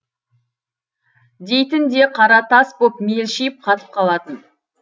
дейтін де қара тас боп мелшиіп қатып қалатын